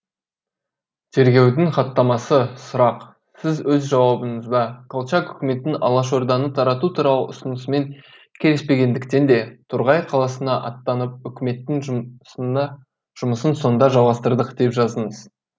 тергеудің хаттамасы сұрақ сіз өз жауабыңызда колчак үкіметінің алашорданы тарату туралы ұсынысымен келіспегендіктен де торғай қаласына аттанып үкіметтің жұмысын сонда жалғастырдық деп жаздыңыз